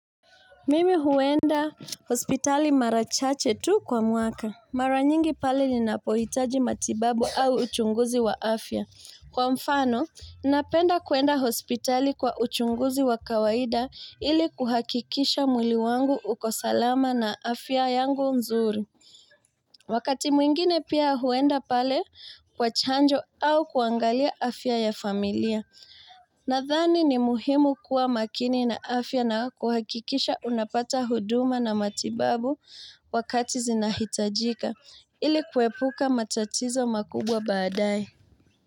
Mimi huenda hospitali mara chache tu kwa mwaka. Mara nyingi pale ni napohitaji matibabu au uchunguzi wa afya. Kwa mfano, napenda kuenda hospitali kwa uchunguzi wa kawaida ili kuhakikisha mwili wangu uko salama na afya yangu nzuri. Wakati mwingine pia huenda pale kwa chanjo au kuangalia afya ya familia. Nadhani ni muhimu kuwa makini na afya na kuhakikisha unapata huduma na matibabu wakati zinahitajika ili kwepuka matatizo makubwa baadae.